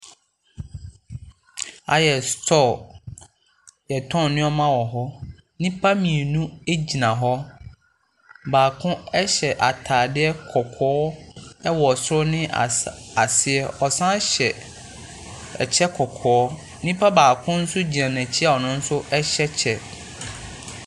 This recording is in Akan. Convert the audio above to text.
Aha yɛ sutɔɔ a yɛ tɔn nneɛma wɔ hɔ. Nnipa mmienu agyina hɔ. Baako ɛhyɛ ataadeɛ kɔkɔɔ ɛwɔ soro ne aseɛ. Ɔsan hyɛ ɛkyɛ, nnipa baako nso gyina n'akyi a ɔnonso ɛhyɛ kyɛ.